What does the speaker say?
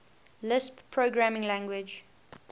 lisp programming language